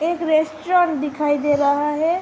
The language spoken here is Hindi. एक रेस्टोरेंट दिखाई दे रहा है ।